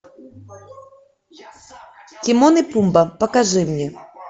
тимон и пумба покажи мне